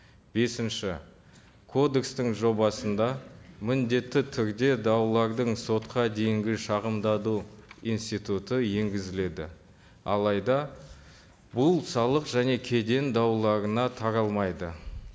бесінші кодекстің жобасында міндетті түрде даулардың сотқа дейінгі институты енгізіледі алайда бұл салық және кеден дауларына таралмайды